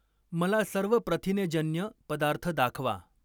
मला सर्व प्रथिनेजन्य पदार्थ दाखवा.